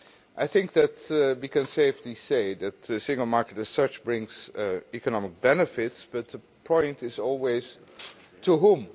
I think that we can safely say that the single market, as such, brings economic benefits, but the point is always to whom?